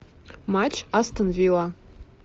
матч астон вилла